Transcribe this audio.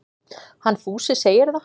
Hann Fúsi segir það.